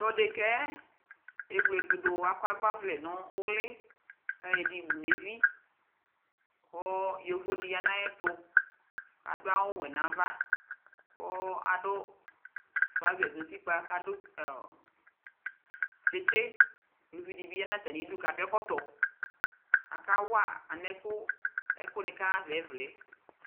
tʋ ɛdɛkaɛ ɛwlɛtʋ dʋ kʋ akɔ agbavlɛ nʋ ʋli kʋ ayɔ ɛdi wʋnʋ ɛvi kʋ yɔvɔ di yanʋ ayɛtʋ, adʋ awʋ wɛ nʋ aɣa kʋ adʋ trouser nʋ ʋtikpa kʋ adʋ kyikyi, ʋlʋvi dibi yanʋ atami idʋ kʋ adʋ ɛkɔtɔ, akawa alɛnʋ ɛkʋni kaha aɣa ɛvlɛ